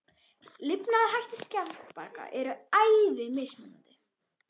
Lifnaðarhættir skjaldbaka eru æði mismunandi.